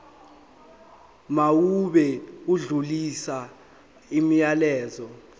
mawube odlulisa umyalezo